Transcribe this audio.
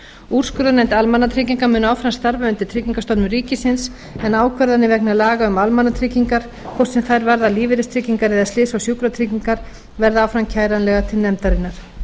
úrskurðarnefnd almannatrygginga mun áfram starfa undir tryggingastofnun ríkisins en ákvarðanir vegna laga um almannatryggingar hvort sem þær varða lífeyristryggingar eða slysa og sjúkratryggingar verða áfram kæranlegar til nefndarinnar